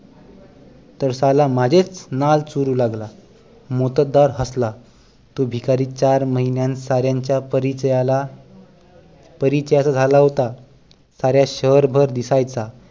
तर साला माझेच नाळ चोरू लागला मोत्तद्दार हसला तो भिकारी चार महिन्यात साऱ्यांच्या परिचयाला परिचयाचा झाला होता साऱ्या शहरभर दिसायचा